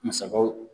Musakaw